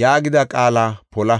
yaagida qaala pola.